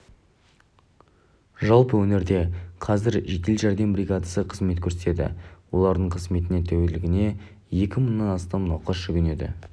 жалпы өңірде қазір жедел жәрдем бригадасы қызмет көрсетеді олардың қызметіне тәулігіне екі мыңнан астам науқас жүгінеді